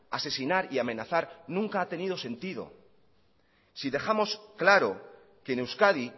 asesinar y amenazar nunca ha tenido sentido si dejamos claro que en euskadi